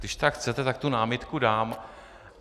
Když tak chcete, tak tu námitku dám.